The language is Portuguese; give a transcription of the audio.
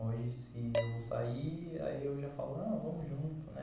Hoje se eu vou sair, aí eu já falo, vamos junto, né?